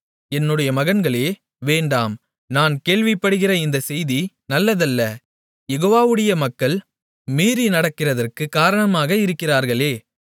என்னுடைய மகன்களே வேண்டாம் நான் கேள்விப்படுகிற இந்தச் செய்தி நல்லதல்ல யெகோவாவுடைய மக்கள் மீறி நடக்கிறதற்குக் காரணமாக இருக்கிறீர்களே